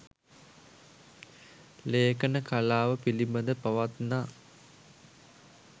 ලේඛන කලාව පිළිබඳ පවත්නා